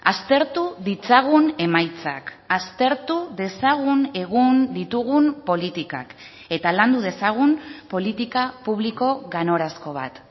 aztertu ditzagun emaitzak aztertu dezagun egun ditugun politikak eta landu dezagun politika publiko ganorazko bat